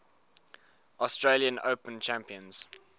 australian open champions